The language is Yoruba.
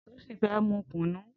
Tosin fè mú kúnú